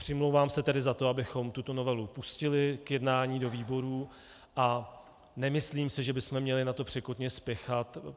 Přimlouvám se tedy za to, abychom tuto novelu pustili k jednání do výborů, a nemyslím si, že bychom měli na to překotně spěchat.